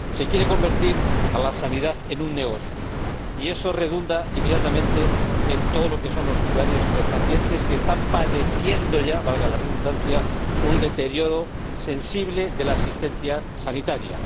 Se quiere convertir a la sanidad en un negocio y eso redunda inmediatamente en los usuarios y los pacientes, que están padeciendo ya valga la redundancia un deterioro sensible de la asistencia sanitaria.